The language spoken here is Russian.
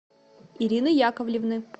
ирины яковлевны